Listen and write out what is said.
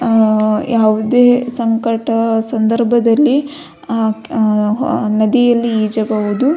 ಆ ಯಾವುದೆ ಸಂಕಟ ಸಂದರ್ಭದಲ್ಲಿ ನದಿಯಲ್ಲಿ ಈಜಬಹುದು.